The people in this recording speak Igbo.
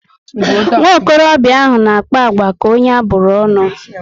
Nwokorobia ahụ na akpa agwa ka onye aburu ọṅụ